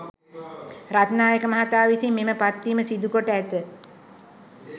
රත්නායක මහතා විසින් මෙම පත්වීම සිදුකොට ඇත.